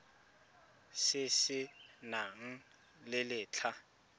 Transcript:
se se nang le letlha